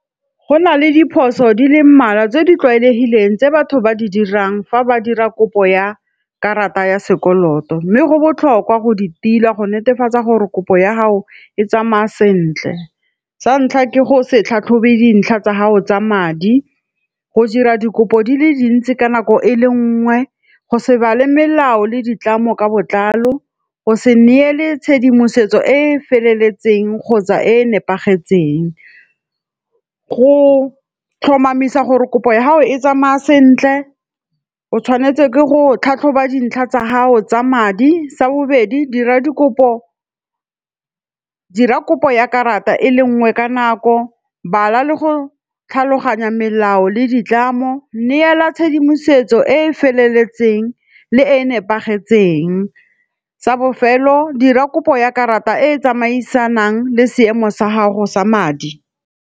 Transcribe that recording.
Go na le diphoso di le mmalwa tse di tlwaelegileng tse batho ba di dirang fa ba dira kopo ya karata ya sekoloto, mme go botlhokwa go di tila go netefatsa gore kopo ya gago e tsamaya sentle. Sa ntlha ke go se tlhatlhobe dintlha tsa gago tsa madi, go dira dikopo di le dintsi ka nako e le nngwe, go se bala melao le ditlamo ka botlalo, go se neele tshedimosetso e e feleletseng kgotsa e e nepagetseng, go tlhomamisa gore kopo ya ha o e tsamaya sentle, o tshwanetse ke go tlhatlhoba dintlha tsa hao tsa madi, sa bobedi dira kopo ya karata e le nngwe ka nako, bala le go tlhaloganya melao le ditlamo, neela tshedimosetso e e feleletseng le e nepagetseng tsa bofelo, dira kopo ya karata e e tsamaisanang le seemo sa gago sa madi.